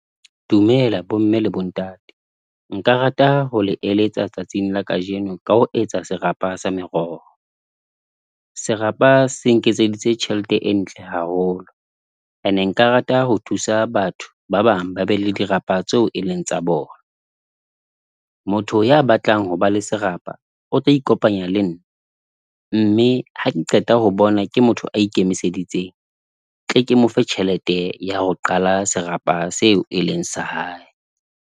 Dumela bomme le bontate. Nka rata ho le eletsa tsatsing la kajeno, ka ho etsa serapa sa meroho. Serapa se nketseditse tjhelete e ntle haholo. Ene nka rata ho thusa batho ba bang ba be le dirapa tseo e leng tsa bona. Motho ya batlang ho ba le serapa, o tlo ikopanya le nna. Mme ha ke qeta ho bona ke motho a ikemiseditseng, tle ke mofe tjhelete ya ho qala serapa seo e leng sa hae.